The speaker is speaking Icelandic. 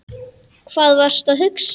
Hvað varstu að hugsa?